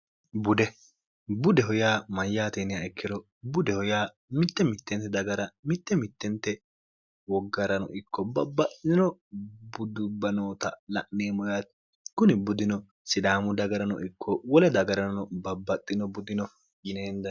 bude budeho yaa mayyaateniha ikkiro budeho yaa mitte mittente dagara mitte mittente woggarano ikko babbaxxino buddubba noota la'neemmo yaati kuni buddino sidaamu dagarano ikko wole dagarano babbaxxino buddino yineenda